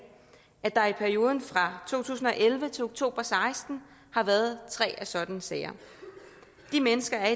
at der i perioden fra to tusind og elleve til oktober og seksten har været tre af sådanne sager de mennesker er